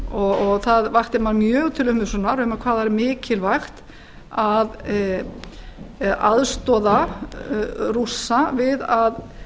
og það vakti mann mjög til umhugsunar hvað það væri mikilvægt að aðstoða rússa við að